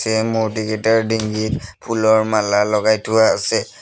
এই মূৰ্তিকেইটাৰ ডিঙিত ফুলৰ মালা লগাই থোৱা আছে।